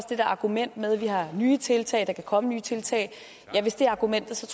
det der argument med at vi har nye tiltag at der kan komme nye tiltag er argumentet